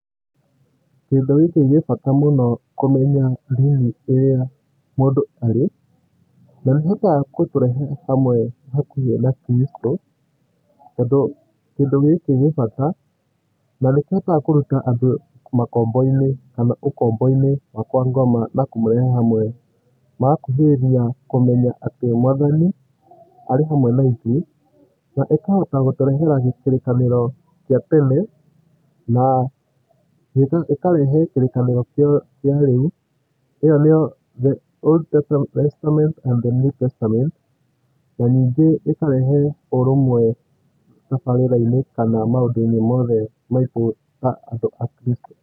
Kĩndũ gĩkĩ gĩ bata mũno kũmenya ndini ĩrĩa mũndũ arĩ. Na nĩĩhotaga gũtũrehe hamwe hakuhĩ na kristũ tondũ kĩndũ gĩkĩ gĩbata nanĩkĩhotaga kũruta andũ makomboinĩ kana ũkombo-inĩ wa kwa ngoma na kũmũrehe hamwe. Magakuhĩrĩria kũmenya atĩ mwathani arĩhamwe na ithuĩ na ĩkahota gũterehe kĩrĩkanĩro gĩa tene na ĩkarehe kĩrĩkanĩro kĩa rĩu ĩo niyo the Old testament and the new testament na nyingĩ ĩkarehe ũrũmwe tabarĩra-inĩ kana maũndũ mothe maitũ ta andũ a kristũ.